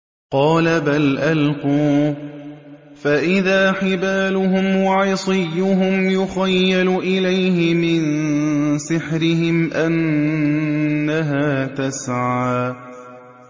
قَالَ بَلْ أَلْقُوا ۖ فَإِذَا حِبَالُهُمْ وَعِصِيُّهُمْ يُخَيَّلُ إِلَيْهِ مِن سِحْرِهِمْ أَنَّهَا تَسْعَىٰ